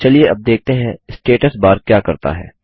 चलिए अब देखते हैं स्टेटस बार क्या करता है